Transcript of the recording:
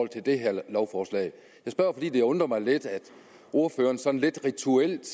til det her lovforslag jeg spørger fordi det undrer mig lidt at ordføreren sådan lidt rituelt